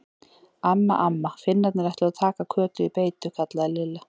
Amma, amma, Finnarnir ætluðu að taka Kötu í beitu kallaði Lilla.